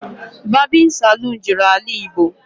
Babin Salon juru AlaIgbo